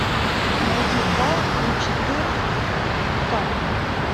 найди вал и четыр ка